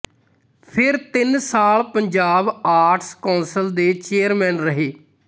ਫਿਰ ਤਿੰਨ ਸਾਲ ਪੰਜਾਬ ਆਰਟਸ ਕੌਂਸਲ ਦੇ ਚੇਅਰਮੈਨ ਰਹੇ